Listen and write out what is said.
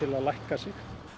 að lækka sig